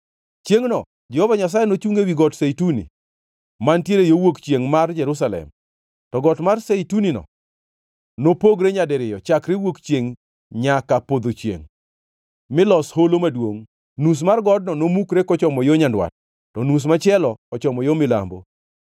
Chiengʼno, Jehova Nyasaye nochungʼ ewi Got Zeituni mantiere yo wuok chiengʼ mar Jerusalem. To Got mar Zeituni-no nopogre nyadiriyo chakre wuok chiengʼ nyaka podho chiengʼ milos holo maduongʼ. Nus mar godno nomukre kochomo yo nyandwat, to nus machielo ochomo yo milambo.